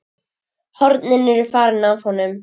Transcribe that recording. Hornin eru farin af honum.